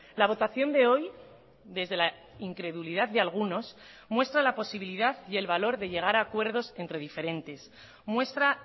la votación de hoy desde la incredulidad de algunos muestra la posibilidad y el valor de llegar a acuerdos entre diferentes muestra